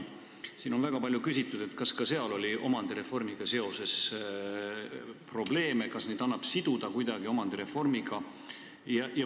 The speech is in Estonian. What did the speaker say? Siin on väga palju küsitud, kas ka seal oli omandireformiga seoses probleeme ja kas neid probleeme annab kuidagi omandireformiga siduda.